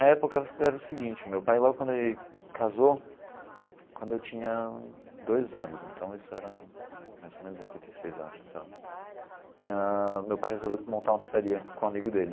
Na época era o seguinte, meu pai logo quando ele casou, quando eu tinha dois anos, então isso era mais ou menos em oitenta e seis acho, sei lá ãh, meu pai resolveu montar uma pizzaria com um amigo dele.